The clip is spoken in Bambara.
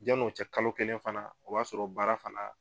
Janni o cɛ kalo kelen fana o b'a sɔrɔ baara fana